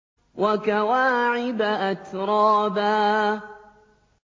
وَكَوَاعِبَ أَتْرَابًا